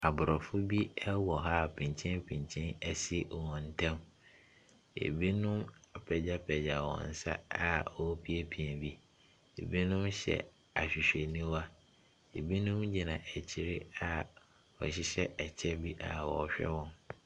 Aborɔfo bi wɔ ha a pinkyenpinkyen asi wɔ wɔn ntam. Ɛbino apagyapagya wɔn nsa a wɔrepiapia bi. Ɛbinom hyɛ ahwehwɛniwa. Ɛbinom gyinagyina akyire a wɔhyehyɛ ɛkyɛ bi a wɔrehwɛ wɔn.